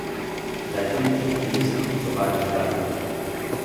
Dajte mi potni list, tovariš Gartner.